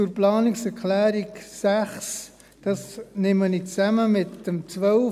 Die Planungserklärung 6 nehme ich zusammen mit der Planungserklärung 12: